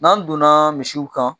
N'an donna misiw kan